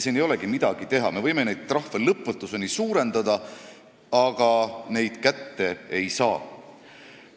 Siin ei olegi midagi teha – me võime trahve lõpmatuseni suurendada, aga kätte seda raha ei saa.